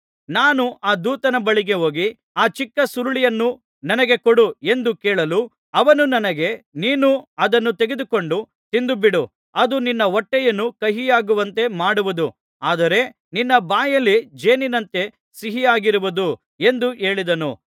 ನಾನು ಆ ದೂತನ ಬಳಿಗೆ ಹೋಗಿ ಆ ಚಿಕ್ಕ ಸುರುಳಿಯನ್ನು ನನಗೆ ಕೊಡು ಎಂದು ಕೇಳಲು ಅವನು ನನಗೆ ನೀನು ಅದನ್ನು ತೆಗೆದುಕೊಂಡು ತಿಂದು ಬಿಡು ಅದು ನಿನ್ನ ಹೊಟ್ಟೆಯನ್ನು ಕಹಿಯಾಗುವಂತೆ ಮಾಡುವುದು ಆದರೆ ನಿನ್ನ ಬಾಯಿ ಜೇನಿನಂತೆ ಸಿಹಿಯಾಗಿರುವುದು ಎಂದು ಹೇಳಿದನು